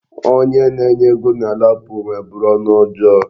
Onye nye ego na LAPO nweburu ọnụ ọjọọ.